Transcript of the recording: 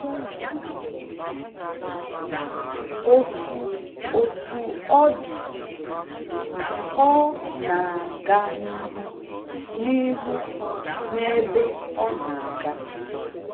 Otú Otú ọ dị, ọ na-aga n’ihu n’ihu n’ebe ọ na-aga.